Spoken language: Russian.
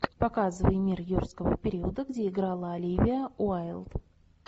показывай мир юрского периода где играла оливия уайлд